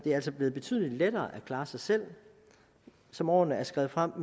er altså blevet betydelig lettere at klare sig selv som årene er skredet frem